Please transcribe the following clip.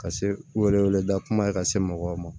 Ka se u yɛrɛw da kuma ye ka se mɔgɔw ma